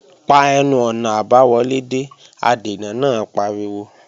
Pa ẹnu-ọ̀nà àbáwọlé dé! Adènà náà pariwo